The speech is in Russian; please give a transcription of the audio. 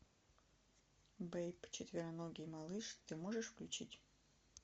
бэйб четвероногий малыш ты можешь включить